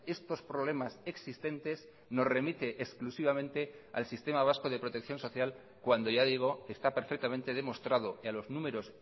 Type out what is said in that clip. estos problemas existentes nos remite exclusivamente al sistema vasco de protección social cuando ya digo está perfectamente demostrado y a los números